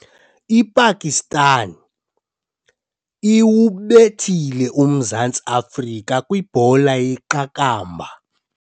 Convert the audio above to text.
IPakistan iwubethile uMzantsi Afrika kwibhola yeqakamba.